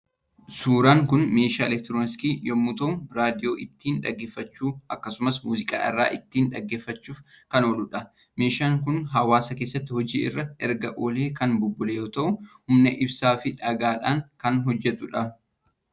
Suuraan kun meeshaa eleektirooniksii yommuu ta'u raadiyoo ittiin dhaggeeffachuu akkasumas muuziqaa irraa ittiin dhaggeeffachuuf kan ooludha. Meeshaan kun hawwaasa keessatti hoojiirra erga oolee kan bubbule yoo ta’u humna ibsaa fi dhagaa dhaan kan hojjetudha.